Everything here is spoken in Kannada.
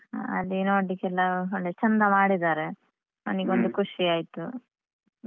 ಅದೇ ನೋಡ್ಲಿಕೆಲ್ಲ ಒಳ್ಳೆ ಚಂದ ಮಾಡಿದ್ದಾರೆ ಅವನಿಗೊಂದು ಖುಷಿ ಆಯ್ತು.